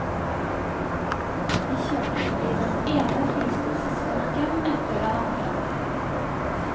Vi kjørte forbi den ene forlystelsesparken etter den andre.